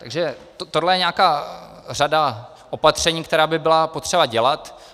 Takže tohle je nějaká řada opatření, kterou by bylo potřeba dělat.